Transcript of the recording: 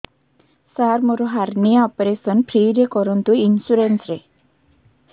ସାର ମୋର hernia operation free ରେ କରନ୍ତୁ ଇନ୍ସୁରେନ୍ସ ରେ